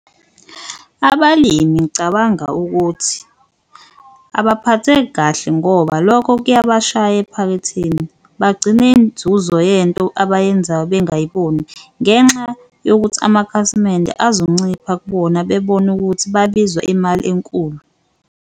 Abalimi ngicabanga ukuthi abaphatheki kahle ngoba lokho kuyabashaya ephaketheni bagcine inzuzo yento abayenzayo bengayiboni, ngenxa yokuthi amakhasimende azoncipha kubona bebone ukuthi babizwa imali enkulu.